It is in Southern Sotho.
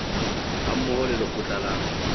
ha mmoho le lekgotla la